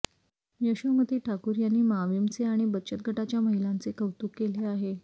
यशोमती ठाकूर यांनी माविमचे आणि बचत गटाच्या महिलांचे कौतुक केले आहे